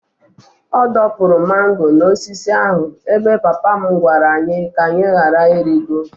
Ọ dọpụrụ mango n'osisi ahụ ebe papa m gwara anyị ka anyị ghara ịrịgo.